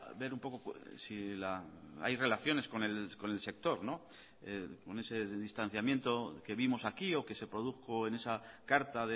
ver un poco si hay relaciones con el sector con ese distanciamiento que vimos aquí o que se produjo en esa carta